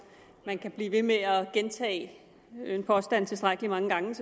man kan selvfølgelig blive ved med at gentage en påstand tilstrækkelig mange gange